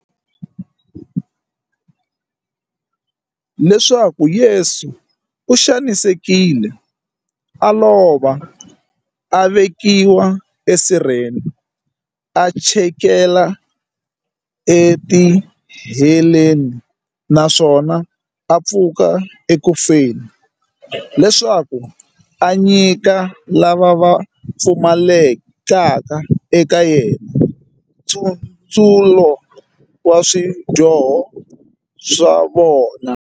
Leswaku Yesu u xanisekile, a lova, a vekiwa esirheni, a chikela etiheleni, naswona a pfuka eku feni, leswaku a nyika lava va pfumalekaka eka yena, nkutsulo wa swidyoho swa vona.